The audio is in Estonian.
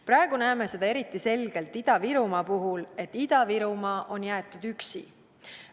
Praegu näeme seda eriti selgelt Ida-Virumaa puhul, et Ida-Virumaa on jäetud üksi.